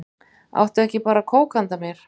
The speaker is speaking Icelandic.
Áttu ekki bara kók handa mér?